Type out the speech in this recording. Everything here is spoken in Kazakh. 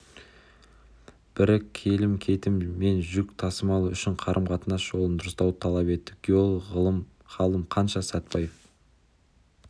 бірі келім-кетім мен жүк тасымалы үшін қарым-қатынас жолын дұрыстауды талап етті геолог ғалым қаныш сәтпаев